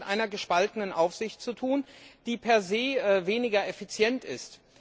Also haben wir es mit einer gespaltenen Aufsicht zu tun, die per se weniger effizient ist.